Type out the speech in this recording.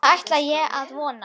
Það ætla ég að vona.